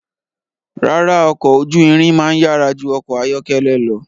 Rárá, ọkọ̀ ojú irin máa yára ju ọkọ̀ ayọ́kẹ́lẹ́ lọ.